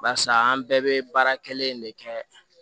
Barisa an bɛɛ bɛ baara kelen de kɛ